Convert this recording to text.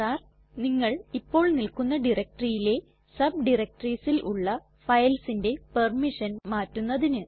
R നിങ്ങൾ ഇപ്പോൾ നിൽക്കുന്ന directoryയിലെ subdirectoriesൽ ഉള്ള filesന്റെ പെർമിഷൻ മാറ്റുന്നതിന്